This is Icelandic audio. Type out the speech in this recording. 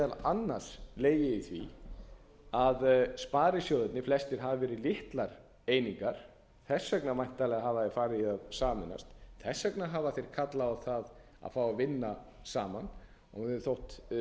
meðal annars legið í því að sparisjóðirnir flestir hafa verið litlar einingar þess vegna væntanlega hafa þeir farið í að sameinast þess vegna hafa þeir kallað á það að fá að vinna saman þeim hefur þótt